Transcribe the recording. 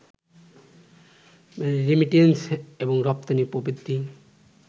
remittance এবং রপ্তানি প্রবৃদ্ধি